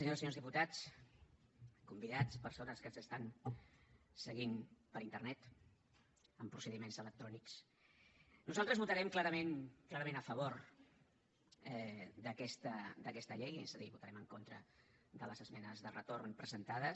senyores i senyors diputats convidats persones que ens estan seguint per internet amb procediments electrònics nosaltres votarem clarament a favor d’aquesta llei és a dir votarem en contra de les esmenes de retorn presentades